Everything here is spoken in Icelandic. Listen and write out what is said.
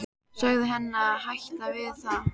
Segðu henni að hætta við það.